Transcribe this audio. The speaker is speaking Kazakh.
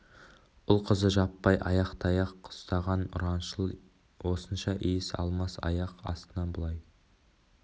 ұл-қызы жаппай ақ таяқ ұстаған ұраншыл осынша иіс алмас аяқ астынан бұлай